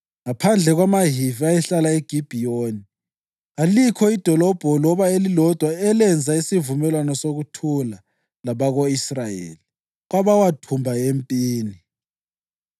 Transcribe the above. Wonke amadolobho abaphristi, izizukulwane zika-Aroni, ayelitshumi lantathu ndawonye lamadlelo awo.